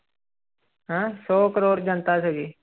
ਹੈਂ ਸੌ ਕਰੌੜ ਜਨਤਾ ਸੀਗੀ।